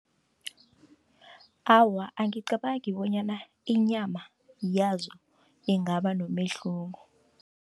Awa, angicabangi bonyana inyama yazo ingaba nomehluko.